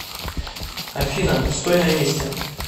афина стой на месте